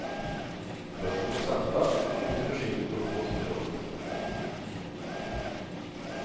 Börsen går sakta, men mycket försiktigt uppåt under året.